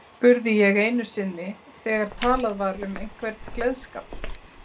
spurði ég einu sinni þegar talað var um einhvern gleðskap.